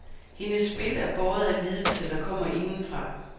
Hendes spil er båret af lidelse, der kommer indefra.